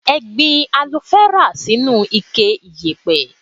Ẹ gbin alofẹ́rà sínú ike ìyẹ̀pẹ̀.